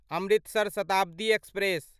Amritsar Shatabdi express